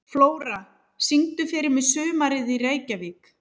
Flóra, syngdu fyrir mig „Sumarið í Reykjavík“.